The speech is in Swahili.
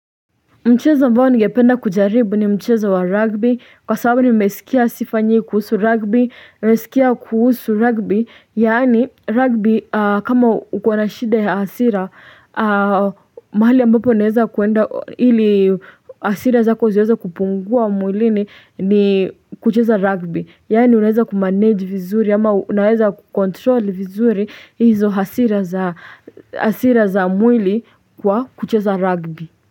Mchezo ambao ningependa kujaribu ni mchezo wa rugby kwa sababu nimesikia sifa nyingi kuhusu rugby, nimesikia kuhusu rugby yani rugby kama uko na shida ya hasira mahali ambapo unaweza kuenda ili hasira zako ziweze kupungua mwilini ni kucheza rugby yani unaweza ku-manage vizuri ama unaweza ku-control vizuri hizo hasira za hasira za mwili kwa kucheza rugby.